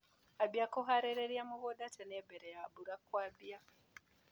Ambia kũharĩria mũgunda tene mbere ya mbura kwambia.